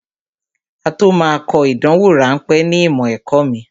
Á tó máa kọ ìdánwò ráńpẹ̀ ní ìmọ̀ ẹ̀kọ́ mi